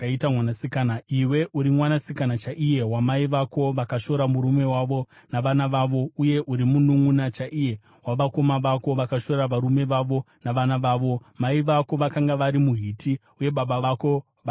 Iwe uri mwanasikana chaiye wamai vako, vakashora murume wavo navana vavo; uye uri mununʼuna chaiye wamadzikoma ako, akashora varume vavo navana vavo. Mai vako vakanga vari muHiti uye baba vako vari muAmori.